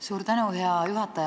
Suur tänu, hea juhataja!